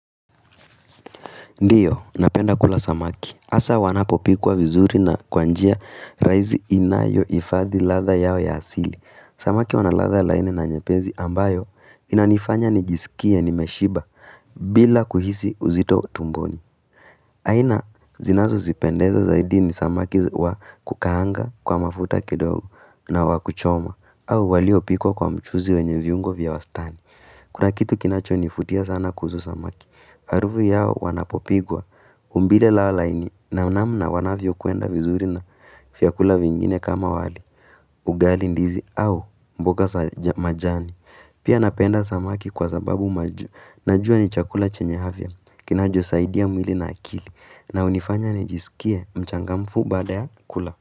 Ndiyo, napenda kula samaki. Asa wanapopikwa vizuri na kwanjia raisi inayo hifadhi ladha yao ya asili. Samaki wanaladha laini na nyepesi ambayo inanifanya nijisikie nimeshiba bila kuhisi uzito tumboni. Aina, zinazo nipendeza zaidi ni samaki wa kukaanga kwa mafuta kidogo na wakuchoma au waliopikwa kwa mchuzi wenye viungo vya wastani. Kuna kitu kinacho nivutia sana kuhusu samaki. Harufu yao wanapopikwa. Umbile lao laini na namna wanavyo kwenda vizuri na vya kula vingine kama wali. Ugali ndizi au mboga za majani. Pia napenda samaki kwa sababu najua ni chakula chenye afya. Kinacho saidia mwili na akili. Na unifanya ni jisikie mchangamfu baada ya kula.